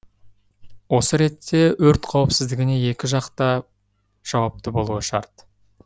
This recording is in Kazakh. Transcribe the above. осы ретте өрт қауіпсіздігіне екі жақ та жауапты болуы шарт